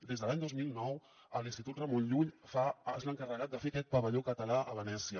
des de l’any dos mil nou l’institut ramon llull és l’encarregat de fer aquest pavelló català a venècia